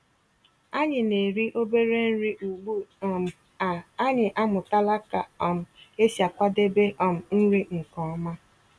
Ànyị́ ná-èrí òbérè nrí ugbu um à ànyị́ àmụ̀tàlà kà um ésí àkwàdébé um nrí nkè ọ̀ma.